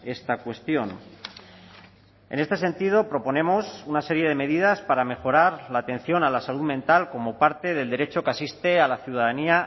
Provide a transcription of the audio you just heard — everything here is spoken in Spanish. esta cuestión en este sentido proponemos una serie de medidas para mejorar la atención a la salud mental como parte del derecho que asiste a la ciudadanía